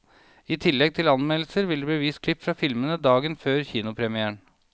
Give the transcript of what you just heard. I tillegg til anmeldelser, vil det bli vist klipp fra filmene dagen før kinopremieren.